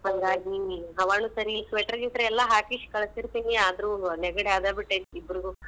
ಹಾಂಗಾಗಿ.